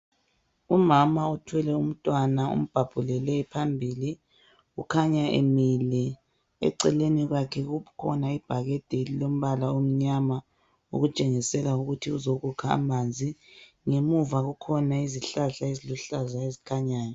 Umama othwele umntwana umbabhulele phambili ukhanya emile eceleni kwakhe kukhona ibhakede elilombala omnyama okutshengisela ukuthi uzokukha amanzi ngemuva kwakhe kukhona izihlahla eziluhlaza ezikhanyayo.